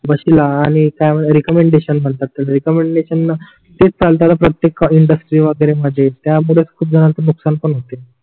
तिला आणि काय म्हणत रेकमेंडेशन म्हणता रेकमेंडेशनन तेच माणसाला प्रतेक इंडस्ट्रीज् वगेरे णा जे त्या मूळे खूप जणांनाच नुकशान पण होते